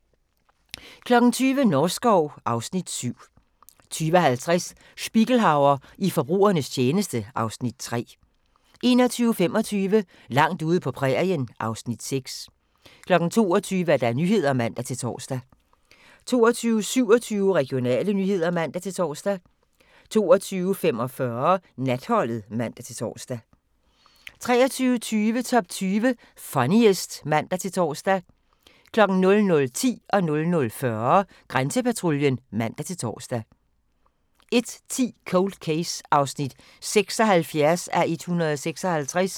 20:00: Norskov (Afs. 7) 20:50: Spiegelhauer i forbrugernes tjeneste (Afs. 3) 21:25: Langt ude på prærien (Afs. 6) 22:00: Nyhederne (man-tor) 22:27: Regionale nyheder (man-tor) 22:45: Natholdet (man-tor) 23:20: Top 20 Funniest (man-tor) 00:10: Grænsepatruljen (man-tor) 00:40: Grænsepatruljen (man-tor) 01:10: Cold Case (76:156)